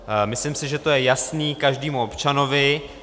Myslím si, že to je jasné každému občanovi.